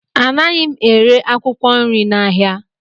Anaghị m ere akwụkwọ nri n'ahịa.